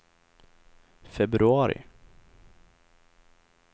februari